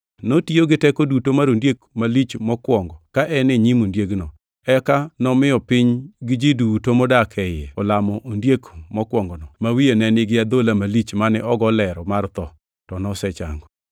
Notiyo gi teko duto mar ondiek malich mokwongo ka en e nyim ondiegino. Eka nomiyo piny gi ji duto modak e iye olamo ondiek malich mokwongono, ma wiye ne nigi adhola malich mane ogo lero mar tho, to nosechango.